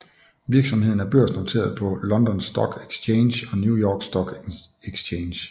Virksomheden er børsnoteret på London Stock Exchange og New York Stock Exchange